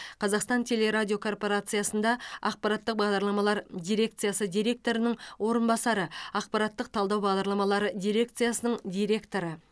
қазақстан теле радио корпорациясында ақпараттық бағдарламалар дирекциясы директорының орынбасары ақпараттық талдау бағдарламалары дирекциясының директоры